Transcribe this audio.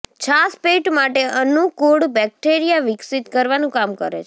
છાશ પેટ માટે અનુકૂળ બેક્ટેરિયા વિકસિત કરવાનું કામ કરે છે